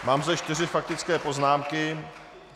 Mám zde čtyři faktické poznámky.